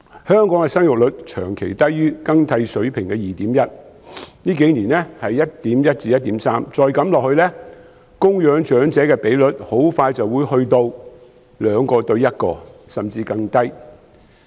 香港的生育率長期低於更替水平的 2.1， 近數年為 1.1 至 1.3， 再這樣下去，供養長者的比率很快便會變成 2：1， 甚至更低。